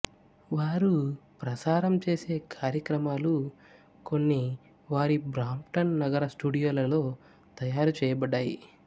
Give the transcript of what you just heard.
వారు ప్రసారం చేసే కార్యక్రమాలు కొన్ని వారి బ్రాంప్టన్ నగర స్టూడియోలలో తయారుచెయ్యబడ్డాయి